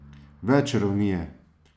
Več ravni je.